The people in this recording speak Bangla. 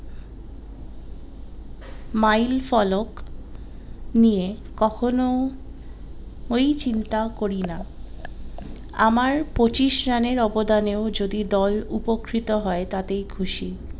মাইল ফলক নিয়ে কখনো ওই চিন্তা করি না আমার পঁচিশ রানের অবদানে ও যদি দল উপকৃত হয় তাতেই খুশি।